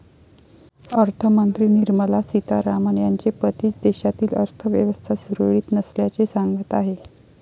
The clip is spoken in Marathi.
अर्थमंत्री निर्मला सीतारामन यांचे पतीच देशातील अर्थव्यवस्था सुरळीत नसल्याचे सांगत आहे.